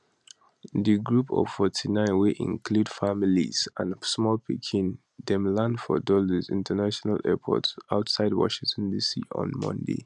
di group of 49 wey include families and small pikin dem land for dulles international airport outside washington dc on monday